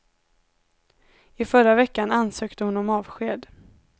I förra veckan ansökte hon om avsked.